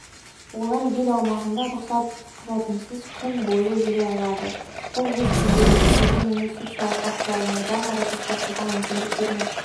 олар ел аумағында рұқсат құжатынсыз күн бойы жүре алады бұл өз кезегінде елдің инвестициялық ахуалын одан әрі жақсартуға мүмкіндік бермек